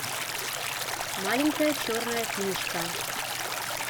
маленькая черная книжка